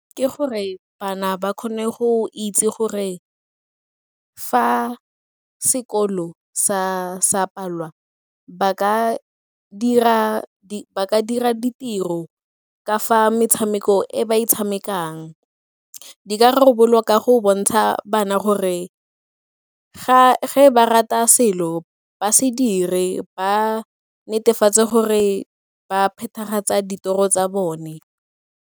Ke gore bana ba kgone go itse gore fa sekolo sa palelwa ba ka dira ditiro ka fa metshameko e ba e tshamekang. Di ka rarabololwa ka go bontsha bana gore ga ba rata selo ba se dire ba netefatse gore ba phethagatsa ditoro tsa bone.